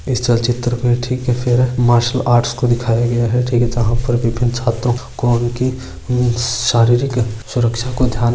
इस चलचित्र पर ठीक है फिर मार्सल आर्ट को दिखाया गया है ठीक है जहां पर विभिन्न छात्रों को उनकी शारीरिक सुरक्षा को ध्यान --